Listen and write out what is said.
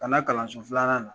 Ka na kalan so filanan nan